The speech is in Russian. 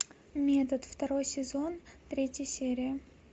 метод второй сезон третья серия